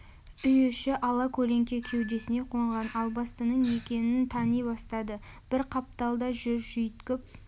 үй іші ала көлеңке кеудесіне қонған албастының екенін тани бастады бір қапталда жүр жүйткіп